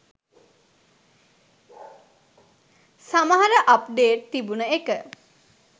සමහර අප්ඩේට් තිබුන එක